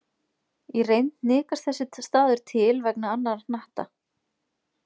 Í reynd hnikast þessi staður til vegna annarra hnatta.